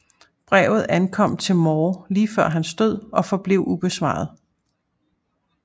Brevet ankom til Moore lige før hans død og forblev ubesvaret